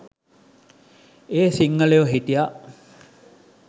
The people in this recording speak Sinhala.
එහෙ සිංහලයො හිටියා